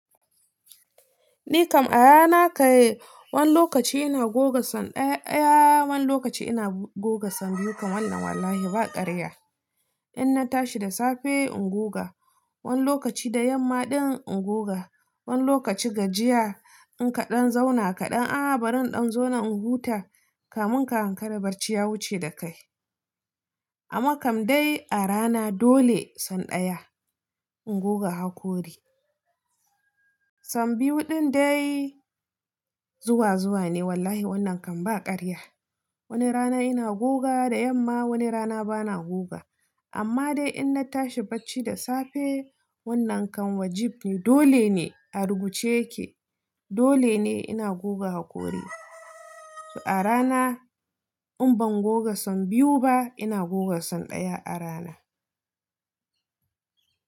Ni kam a rana kai, wani lokaci ina goge sau ɗaya ɗaya, wani lokaci ina goge sau biyu. Kam wannan wallahi ba karya. Inna tashi da safe in goga, wani lokaci da yamma ɗin in goga, wani lokaci gajiya in kaɗan zauna kaɗan. Ahh bari in ɗan zauna in huta, kamun ka hankara bacci ya wuce da kai. Amma kam dai a rana dole san ɗaya in goga hakori. San biyu ɗindai zuwa zuwa ne wallahi wannan kam ba karya. Wani rana ina goga da yamma, wani rana bana goga. Amma dai inna tashi bacci da safe wannan kam wajibi ne dole ne a rubuce yake. Dole ne ina goga hakori. To a rana in ban goga san biyu ba ina goga san ɗaya a rana.